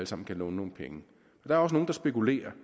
sammen kan låne nogle penge der er også nogle der spekulerer